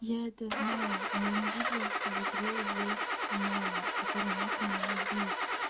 я это знаю но я не видела что в игре есть маня который мог меня бить